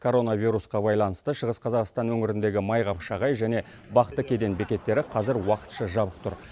коронавирусқа баланысты шығыс қазақстан өңіріндегі майқапшағай және бақты кеден бекеттері қазір уақытша жабық тұр